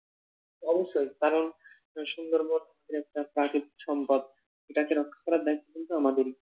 অবশ্যই কারণ সুন্দরবন একটা প্রাকৃতিক সম্পদ। এটাকে রক্ষা করার দায়িত্ব কিন্তু আমাদেরই।